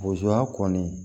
kɔni